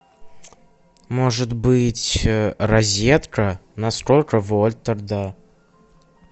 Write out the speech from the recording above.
может быть розетка на сколько вольт тогда